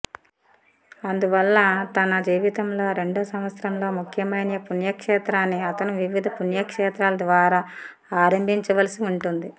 అందువల్ల తన జీవితంలో రెండో సంవత్సరంలో ముఖ్యమైన పుణ్యక్షేత్రాన్ని అతను వివిధ పుణ్యక్షేత్రాల ద్వారా ఆరంభించవలసి ఉంటుంది